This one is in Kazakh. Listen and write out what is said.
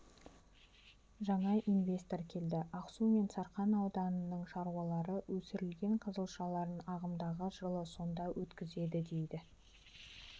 жаңа инвестор келді ақсу мен сарқан ауданының шаруалары өсірген қызылшаларын ағымдағы жылы сонда өткізеді дейді